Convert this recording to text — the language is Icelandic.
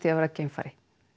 að vera geimfari